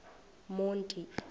monti